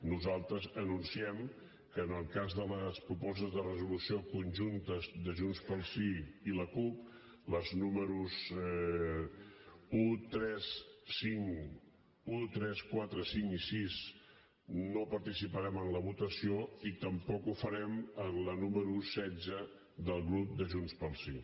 nosaltres anunciem que en el cas de les propostes de resolució conjuntes de junts pel sí i la cup les números un tres quatre cinc i sis no participarem en la votació i tampoc ho farem en la número setze del grup de junts pel sí